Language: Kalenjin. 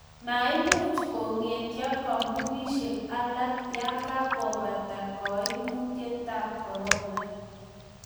maimuch ko ng'etio kampunisiek alak ya kakubata kaimutietab korona